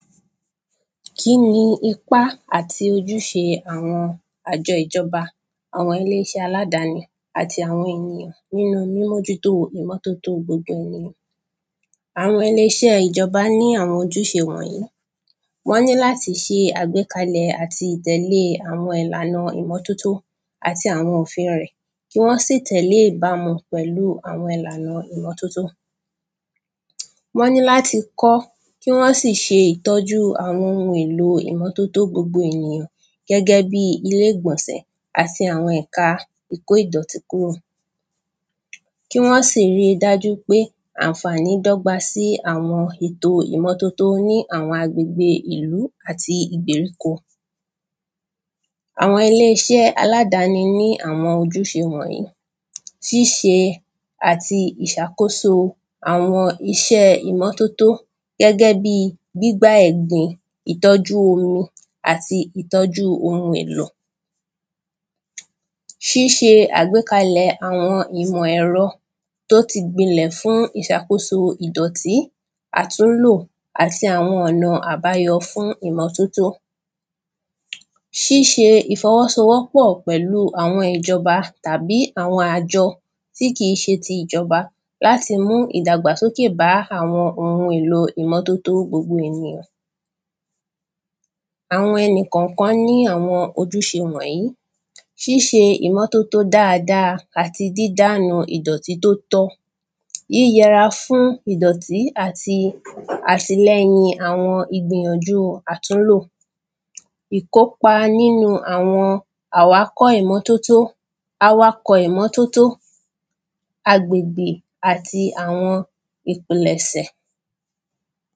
kí ni ipá àti ojúṣe àwọn àjọ ìjọba àwọn ilé iṣẹ́ aládani àti àwọn ènìyàn nínú mímójútó ìmọ́tótó gbogbo ènìyàn àwọn ẹni iṣẹ́ ìjọba ní àwọn ojúṣe wọ̀nyí wọ́n ní láti ṣe àgbékalẹ̀ àti tẹ̀lé àwọn ìlànà ìmọ́tótó àti àwọn òfin rẹ̀ kí wọ́n sì tẹ̀lé ìbamu pẹ̀lú àwọn ìlànà ìmọ́tótó wọ́n ní láti kọ́ kí wọ́n sì ṣe ìtọ́jú àwọn ohun èlò ìmọ́tótó gbogbo àwọn ènìyàn gẹ́gẹ́ bí ilé gbọ̀nsẹ̀ àti àwọn ẹ̀ka ìkó ìdọ̀tí kúrò kí wọ́n sì ri dájú wí pé ànfàní dógba sí àwọn ètò ìmọ́tótó ní àwọn agbègbè ìlú áti ìgbèríko àwọn ilé iṣẹ́ aládani ní àwọn ojúṣe wọ̀nyí ṣíṣe àti ìṣàkóso àwọn iṣẹ́ ìmọ́tótó gẹ́gẹ́ bí gbígbá ẹ̀gbin ìtọ́jú omi ìtọ́jú ohun èlò ṣíṣe àgb́kalẹ̀ àwọn ìmọ ẹ̀rọ tó ti gbilẹ̀ fún ìṣàkóso ìdọ̀tí àtúnlò àti àwọn ọ̀nà àbáyọ fún ìmọ́tótó ṣíṣe ìfọwọ́sowọ́pọ̀ pẹ̀lú àwọn ìjọba tàbí àwọn àjọ tí kìí ṣe ti ìjọba láti mú ìdàgbàsókè bá àwọn ohun èlò ìmọ́tótó gbogbo àwọn ènìyàn àwọn ẹnì kànkan ní àwọn ojúṣe wọ̀nyí ṣíṣe ìmọ́tótó dáadáa àti dídànù idọ̀tí tó tọ́ yíyẹra fún ìdọ̀tí àti àtìlẹyìn àwọn ìgbìyànjú àtúnlò ìkópa nínu àwọn à wá kọ́ ìmọ́tótó àwákọ́ ìmọ́tótó agbègbè àti àwọn ìpìlẹ̀sẹ̀